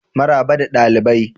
Maraba da dalibai.